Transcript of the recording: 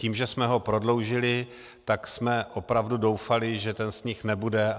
Tím, že jsme ho prodloužili, tak jsme opravdu doufali, že ten sníh nebude.